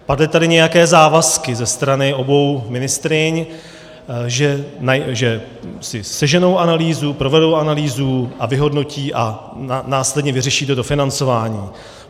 Padly tady nějaké závazky ze strany obou ministryň, že si seženou analýzu, provedou analýzu a vyhodnotí a následně vyřeší to dofinancování.